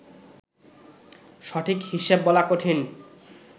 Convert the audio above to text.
সঠিক হিসেব বলা কঠিন